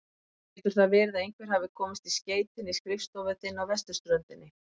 Getur það verið að einhver hafi komist í skeytin í skrifstofu þinni á vesturströndinni?